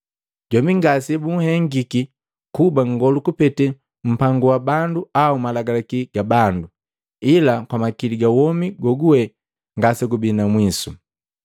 Jombi ngasebunhengiki kuba nngolu kupete mpangu wa bandu au malagalaki ga bandu, ila kwa makili ga womi goguwe ngasegubii na mwiso.